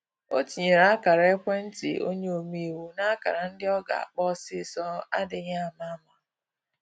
O tinyere ákara-ekwentị onye ome-iwu na ákara ndị ọ ga akpọ osisọ adịghị ama ama